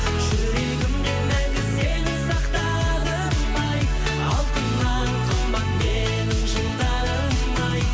жүрегімде мәңгі сені сақтадым ай алтыннан қымбат менің жылдарым ай